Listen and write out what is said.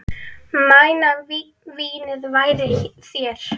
Mæna vínið færir þér.